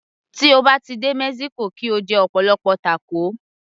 Tí o bá ti dé mexico kí o jẹ ọ̀pọ̀lọpọ̀ tákò